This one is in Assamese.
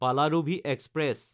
পালাৰুভি এক্সপ্ৰেছ